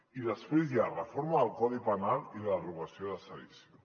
i després hi ha reforma del codi penal i la derogació de sedició